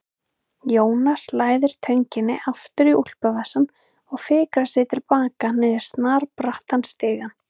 Jónas læðir tönginni aftur í úlpuvasann og fikrar sig til baka niður snarbrattan stigann.